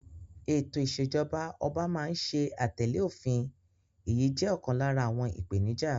Ètò ìṣèjọba ọba máa ń ṣe àtẹ̀lẹ́ òfin, èyí jẹ́ ọ̀kan lára àwọn ìpèníjà.